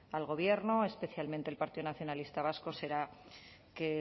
al gobierno especialmente el partido nacionalista vasco será que